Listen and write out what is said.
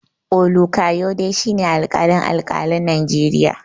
Olukayode shi ne alƙalin alƙalan Najeriya.